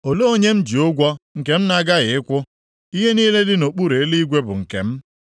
Olee onye m ji ụgwọ nke m na-aghaghị ịkwụ? Ihe niile dị nʼokpuru eluigwe bụ nke m.